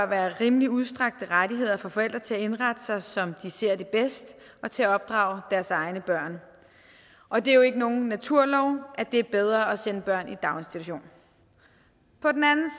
være rimelig udstrakte rettigheder for forældre til at indrette sig som de ser det bedst og til at opdrage deres egne børn og det er jo ikke nogen naturlov at det er bedre at sætte børn i daginstitution på den anden